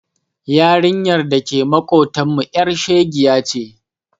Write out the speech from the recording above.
Yarinyar da ke maƙotanmu ƴar shegiya ce.